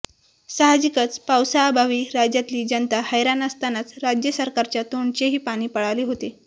साहजिकच पावसाअभावी राज्यातली जनता हैराण असतानाच राज्य सरकारच्या तोंडचेही पाणी पळाले होते